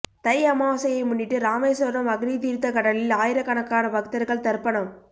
தை அமாவாசையை முன்னிட்டு ராமேஸ்வரம் அக்னிதீர்த்த கடலில் ஆயிரக்கணக்கான பக்தர்கள் தர்ப்பணம்